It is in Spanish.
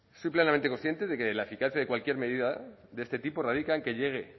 soy plenamente consciente de que la eficacia de cualquier medida de este tipo radica en que llegue